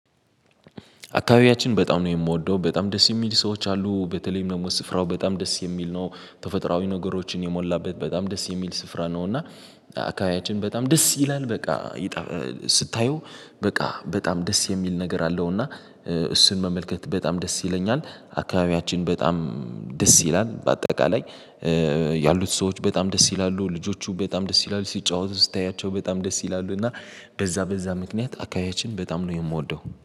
አካባቢያችን በጣም ነው የምወደው በጣም ደስ የሚል ሰዎች አሉ በተለይም ደግሞ ስፍራው በጣም ደስ የሚል ነው። ተፈጥሮአዊ ነገሮችን የሞላበት በጣም ደስ የሚል ስፍራ ነው እና። አካባቢያችን በጣም ደስ ይላል በቃ ስታየው በቃ በጣም ደስ የሚል ነገር አለው እና እሱን መመልከት በጣም ደስ ይለኛል። አካባቢያችን በጣም ደስ ይላል በአጠቃላይ። ያሉት ሰዎች በጣም ደስ ይላሉ ልጆቹ በጣም ደስ ይላሉ ሲጫወቱ ስታያቸው በጣም ደስ ይላሉ እና በዛ በዛ ምክንያት አካባቢያችንን በጣም ነው የምወደው